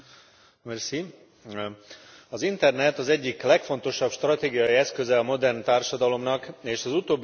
Az internet az egyik legfontosabb stratégiai eszköze a modern társadalomnak, és az utóbbi tíz évben növekvő veszélybe került.